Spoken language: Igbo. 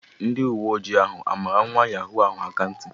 Ndi uwe ojii ahụ a mara nwa yahoo ahụ akanti?